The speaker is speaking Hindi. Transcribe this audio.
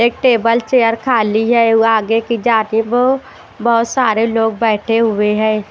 एक टेबल चेयर खाली है वो आगे की जाति वो बहोत सारे लोग बैठे हुए हैं।